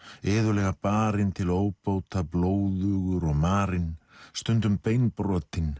iðulega barinn til óbóta blóðugur og marinn stundum